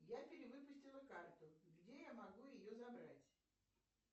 я перевыпустила карту где я могу ее забрать